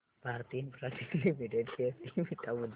Bharti Infratel limited share चे beta मूल्य